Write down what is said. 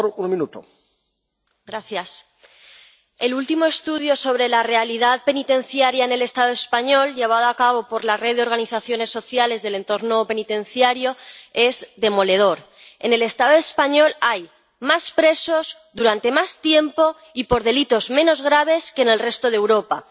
Señor presidente, el último estudio sobre la realidad penitenciaria en el Estado español, llevado a cabo por la red de organizaciones sociales del entorno penitenciario es demoledor en el Estado español hay más presos, durante más tiempo y por delitos menos graves que en el resto de Europa.